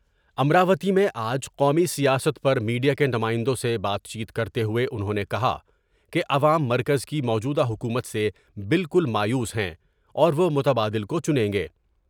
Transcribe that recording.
امراوتی میں آج قومی سیاست پر میڈیا کے نمائندوں سے بات چیت کرتے ہوۓ انہوں نے کہا کہ عوام مرکز کی موجودہ حکومت سے بالکل مایوس ہیں اور وہ متبادل کو چنیں گے ۔